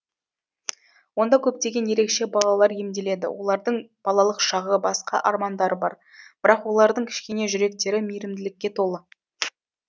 онда көптеген ерекше балалар емделеді олардың балалық шағы басқа армандары бар бірақ олардың кішкене жүректері мейірімділікке толы